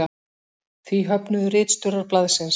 Því höfnuðu ritstjórar blaðsins